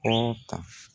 Kɔrɔ ka